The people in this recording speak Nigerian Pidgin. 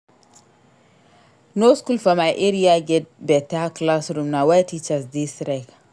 No skool for my area get beta classroom na why teachers dey strike.